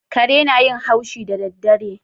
Kare na yin haushi da daddare